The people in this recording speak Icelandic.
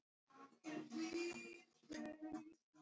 Það var bara alveg sjálfsagt.